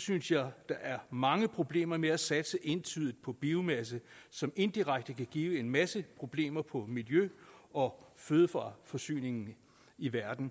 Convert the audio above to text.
synes jeg der er mange problemer med at satse entydigt på biomasse som indirekte kan give en masse problemer på miljø og fødevareforsyningen i verden